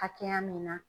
Hakɛya min na